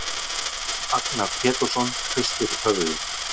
Jón Agnar Pétursson hristir höfuðið.